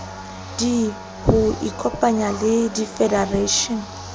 d ho ikopanya le difedereishene